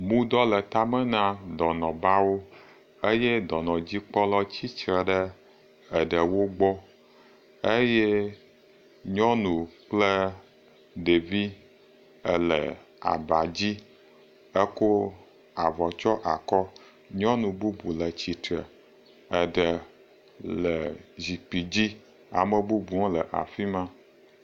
Mudɔ le tame na dɔnɔbawo eye dɔnɔdzikpɔla tsi tre ɖe eɖewo gbɔ eye nyɔnu kple ɖevi ele aba dzi ekɔ avɔ tsyɔ akɔ, nyɔnu bubu le tsitre, eɖe le zikpui dzi, ame bubu le afi ma.